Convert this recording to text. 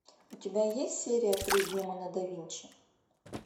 у тебя есть серия три демоны да винчи